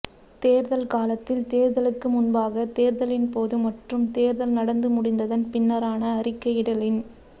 தேர்தல் காலத்தில் தேர்தலுக்கு முன்பாக தேர்தலின்போது மற்றும் தேர்தல் நடந்து முடிந்ததன் பின்னரான அறிக்கையிடலின்